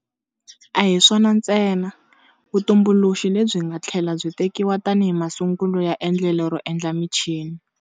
A hi swona ntsena, vutumbuluxi lebyi nga tlhela byi tekiwa tanihi masungulo ya endlelo ro endla michini.